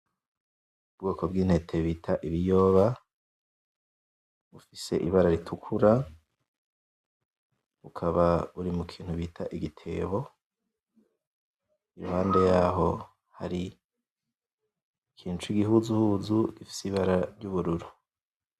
Ubwoko bwintete bita ibiyoba bufise ibara ritukura bukaba buri mukintu bita igitebo iruhande yaho hari ikintu cigihuzuhuzu gifise ibara ryubururu